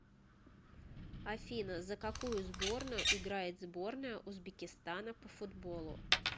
афина за какую сборную играет сборная узбекистана по футболу